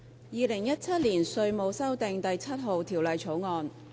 《2017年稅務條例草案》。